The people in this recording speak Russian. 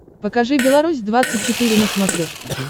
покажи беларусь двадцать четыре на смотрешке